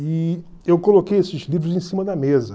E eu coloquei esses livros em cima da mesa.